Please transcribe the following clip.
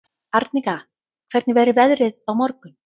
Arnika, hvernig verður veðrið á morgun?